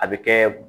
A bɛ kɛ